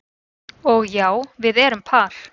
Og já, við erum par